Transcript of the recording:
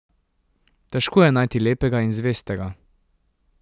Težko je najti lepega in zvestega.